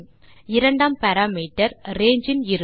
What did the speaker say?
இரண்டாம் parameter range இன் இறுதி